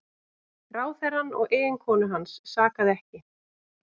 Ráðherrann og eiginkonu hans sakaði ekki